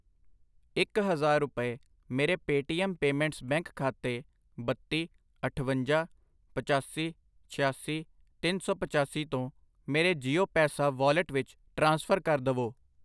ਇੱਕ ਹਜ਼ਾਰ ਰੁਪਏ ਮੇਰੇ ਪੇਟੀਐਮ ਪੇਮੈਂਟਸ ਬੈਂਕ ਖਾਤੇ ਬੱਤੀ, ਅਠਵੰਜਾ, ਪਚਾਸੀ, ਛਿਆਸੀ, ਤਿੰਨ ਸੌ ਪਚਾਸੀ ਤੋਂ ਮੇਰੇ ਜੀਓ ਪੈਸਾ ਵਾਲਿਟ ਵਿੱਚ ਟ੍ਰਾਂਸਫਰ ਕਰ ਦਵੋI